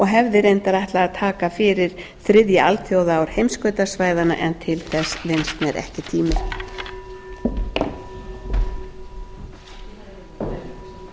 hefði reyndar ætlað að taka fyrir þriðja alþjóðaár heimskautasvæðanna en til þess vinnst mér ekki tími